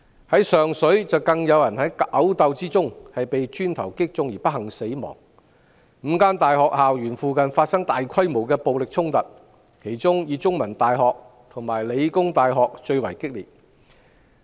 在上水，有人在毆鬥中被磚頭擊中不幸死亡 ，5 所大學校園附近亦發生大規模暴力衝突，而香港中文大學和香港理工大學的情況最為激烈。